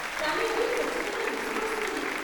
కానీ అది ఖచ్చితంగా విసుగొస్తుంది.